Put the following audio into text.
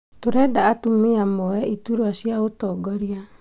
Turenda atumia moe iturũa cia ũtongoria